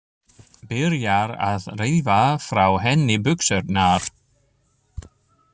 Byrjar að rífa frá henni buxurnar.